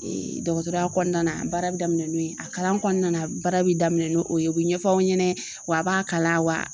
dɔgɔtɔrɔya kɔnɔna na baara bɛ daminɛn n'o ye a kalan kɔnɔna na baara bɛ daminɛn n'o ye u bɛ ɲɛfɔ aw ɲɛna wa a b'a kalan